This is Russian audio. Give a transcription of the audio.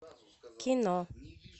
кино